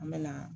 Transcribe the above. An bɛ na